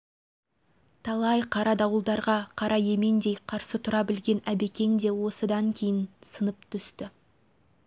талай қара дауылдарға қара емендей қарсы тұра білген әбекең де осыдан кейін сынып түсті